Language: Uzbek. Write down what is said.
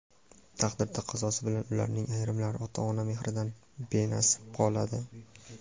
taqdir taqozosi bilan ularning ayrimlari ota-ona mehridan benasib qoladi.